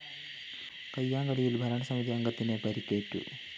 കയ്യാങ്കളിയില്‍ ഭരണസമിതി അംഗത്തിന്‌ പരിക്കേറ്റു